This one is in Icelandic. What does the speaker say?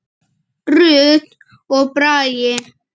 Rut og Bragi.